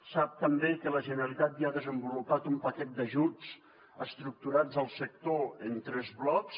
sap també que la generalitat ja ha desenvolupat un paquet d’ajuts estructurats al sector en tres blocs